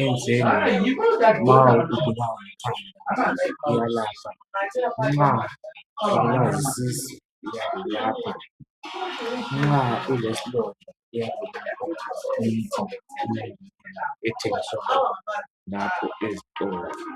enjengamaparacet nxa ubulawa yisisu, nxa ulesilonda kumbe utshaywa likhanda.